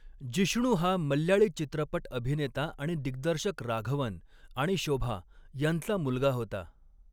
जिष्णु हा मल्याळी चित्रपट अभिनेता आणि दिग्दर्शक राघवन आणि शोभा यांचा मुलगा होता.